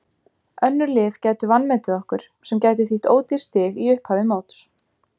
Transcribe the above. Önnur lið gætu vanmetið okkur sem gæti þýtt ódýr stig í upphafi móts.